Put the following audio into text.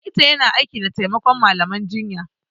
Likita yana aiki da taimakon malaman jinya